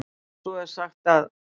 Svo er sagt að.